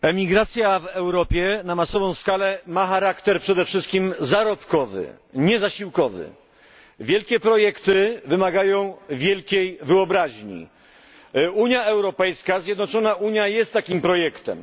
Emigracja w Europie na masową skalę ma charakter przede wszystkim zarobkowy, nie zasiłkowy. Wielkie projekty wymagają wielkiej wyobraźni. Unia Europejska jest takim projektem.